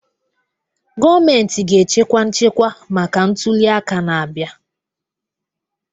Gọọmentị ga-echekwa nchekwa maka ntuli aka na-abịa